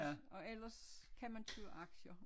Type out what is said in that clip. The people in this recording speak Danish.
Og ellers kan man købe aktier